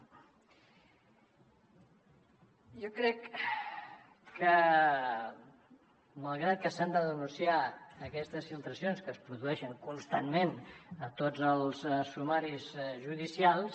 jo crec que malgrat que s’han de denunciar aquestes filtracions que es produeixen constantment a tots els sumaris judicials